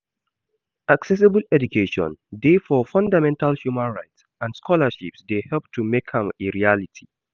Accessible education dey for fundamental human rights and scholarships dey help to make am a reality.